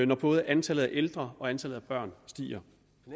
når både antallet af ældre og antallet af børn stiger